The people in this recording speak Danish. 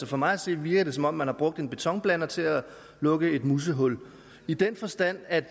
for mig at se virker det som om man har brugt en betonblander til at lukke et musehul i den forstand at